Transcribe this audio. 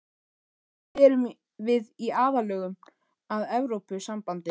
En erum við í aðlögun að Evrópusambandinu?